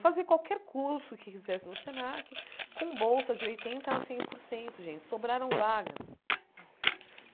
fazer qualquer curso que quisesse no Senac com bolsa de oitenta a cem por cento, gente, sobraram vagas.